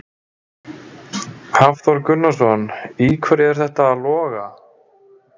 Hafþór Gunnarsson: Í hverju er þetta að loga?